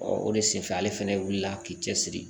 o de senfɛ ale fɛnɛ wulila k'i cɛsiri